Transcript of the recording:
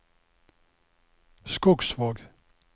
Skogsvåg